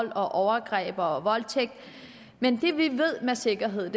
og overgreb og voldtægt men det vi ved med sikkerhed er